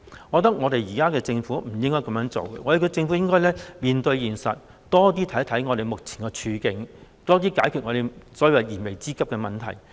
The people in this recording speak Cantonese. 我認為現在的政府不應該這樣，政府應該面對現實，多些考慮市民目前的處境，多加解決燃眉之急的問題。